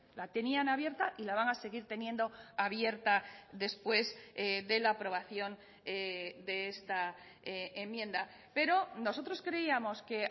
la tenían abierta y la van a seguir teniendo abierta después de la aprobación de esta enmienda pero nosotros creíamos que